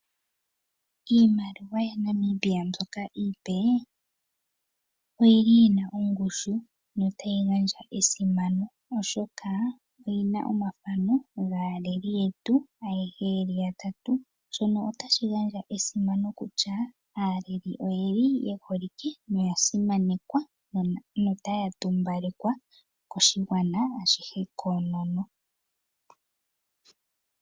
Iimaliwa yaNamibia mbyoka iipe oyi li yina oongushu na otayi gandja esimano oshoka oyi li yi na omathano gaaleli yetu ayehe yeli yatatu, shoka otashi gandja esimano kutya aaleli oye li yeholike na oyasimanekwa na otaya tumbalekwa koshigwana ashihe koonono.